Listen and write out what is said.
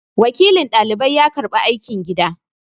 Wakilin dalibai ya karɓi aikin gidan